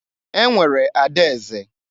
E nwere ada eze.